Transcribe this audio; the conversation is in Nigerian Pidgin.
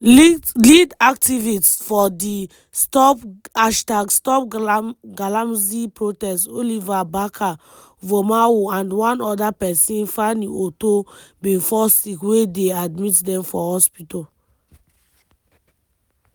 lead activist for di #stopgalamsey protest oliver barker-vormawor and one oda pesin fanny otoo bin fall sick wey dey admit dem for hospital.